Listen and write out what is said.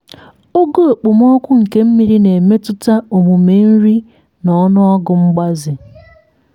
ogo okpomọkụ nke mmiri na-emetụta omume nri na ọnụego mgbaze.